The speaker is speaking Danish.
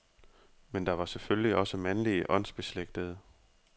Men der var selvfølgelig også mandlige åndsbeslægtede.